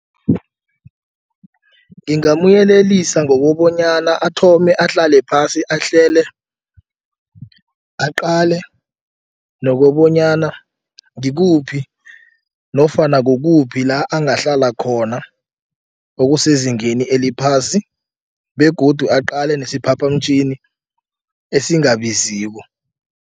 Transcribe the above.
Ngingamyelelisa ngokobonyana athome ahlale phasi ahlele aqale nokobonyana ngikuphi nofana kukuphi la angahlala khona okusezingeni eliphasi begodu aqale nesiphaphamtjhini esingabaziko.